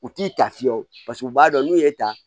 U t'i ta fiyɛ o u b'a dɔn n'u ye tan